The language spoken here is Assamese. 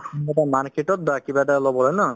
কিবা এটা ল'ব হয় নে নহয়